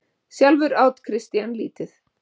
Sjálfur át Christian lítið.